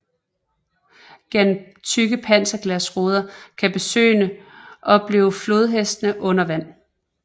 Gennem tykke panserglasruder kan besøgerne oplever flodhestene under vand